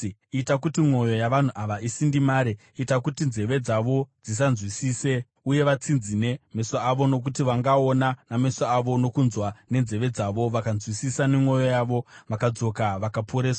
Ita kuti mwoyo yavanhu ava isindimare; ita kuti nzeve dzavo dzisanzwisise uye vatsinzine meso avo. Nokuti vangaona nameso avo, nokunzwa nenzeve dzavo, vakanzwisisa nemwoyo yavo, vakadzoka vakaporeswa.”